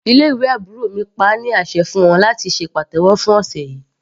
Ilé ìwé àbúrò mi pa á ní àṣẹ fún wọn láti ṣe pàtẹ́wọ́ fún ọ̀sẹ̀ yìí.